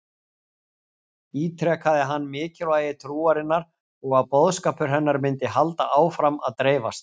Ítrekaði hann mikilvægi trúarinnar og að boðskapur hennar myndi halda áfram að dreifast.